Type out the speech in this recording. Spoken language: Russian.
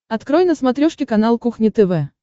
открой на смотрешке канал кухня тв